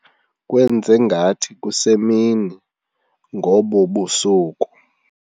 kwenze ngathi kusemini ngobu busuku.